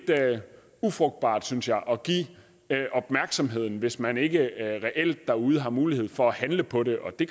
ufrugtbart synes jeg at give opmærksomheden hvis man ikke reelt derude har mulighed for at handle på det og det